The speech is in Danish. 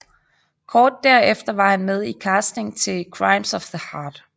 Kort derefter var han med i casting til Crimes of the Heart